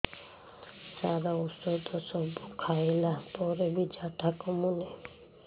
ସାର ଔଷଧ ସବୁ ଖାଇଲା ପରେ ବି ଝାଡା କମୁନି